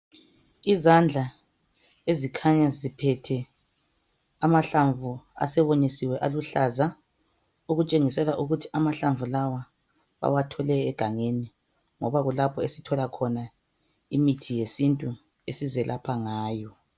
Izandla ezikhanya ziphethe amahlamvu asewonyisiwe aluhlaza. Okutshengisela ukuthi amahlamvu lawa bawathole egangeni ngoba kulapho esithola khona imithi yesintu esizelapha ngayo.